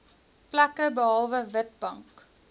plekke behalwe witbank